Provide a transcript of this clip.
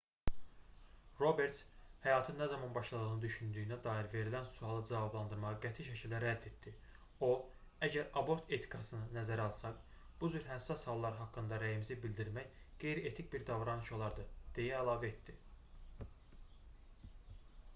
roberts həyatın nə zaman başladığını düşündüyünə dair verilən sualı cavablandırmağı qəti şəkildə rədd etdi o əgər abort etikasını nəzərə alsaq bu cür həssas hallar haqqında rəyimizi bidirmək qeyri-etik bir davranış olardı deyə əlavə etdi